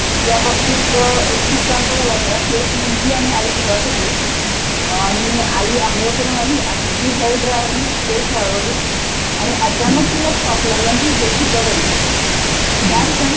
ह्याचं ट्रेनिंग दिलं पाहिजे. याबाबतीत एख किस्सा असा झाला होता की एक मुलगी आणि आई घरात होते आणि आंघोळ करून आली आणि ती हेयरड्रायरनी केस वाळवतं होती, आणि अचानक तिला शॉक लागला आणि ती बेशुध्द पडली. त्याक्षणी